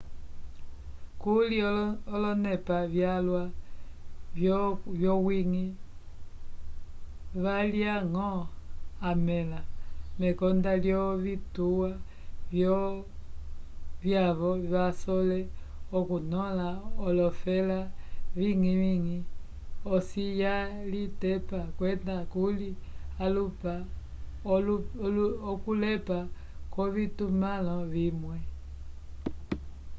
kuli olonepa vyalwa vyowiñgi valya-ñgo amẽla mekonda lyovituwa vyavo vasole okunõla olofela viñgi-viñgi osi yalitepa kwenda kuli okulepa kwovitumãlo vimwe